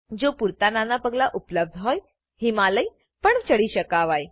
જો પૂરતા નાના પગલાંઓ ઉપલબ્ધ હોય હિમાલય પણ ચઢી શકાય